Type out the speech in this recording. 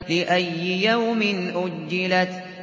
لِأَيِّ يَوْمٍ أُجِّلَتْ